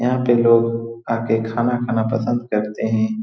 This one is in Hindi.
यहाँ पे लोग आ के खाना खाना पसंद करते हैं।